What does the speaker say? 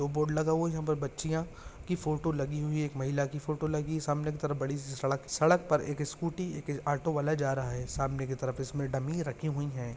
दो बोर्ड लगा हुया है जहाँ पर बच्चीया की फोटो लगी हुई है एक महिला की फोटो लगी सामने की तरफ बडीसी सड़क सड़क पर एक स्कूटी एक ऑटो वाला जा रहा है सामने की तरफ इसमे डम्मी रखी हुई है।